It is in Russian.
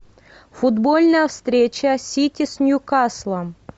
футбольная встреча сити с ньюкаслом